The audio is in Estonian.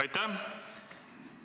Aitäh!